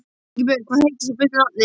Ingibjörn, hvað heitir þú fullu nafni?